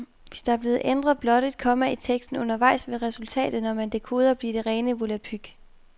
Hvis der er blevet ændret blot et komma i teksten undervejs, vil resultatet, når man dekoder, blive det rene volapyk.